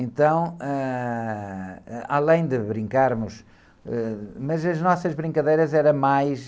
Então, ãh, ah, além de brincarmos, ãh, mas as nossas brincadeiras eram mais...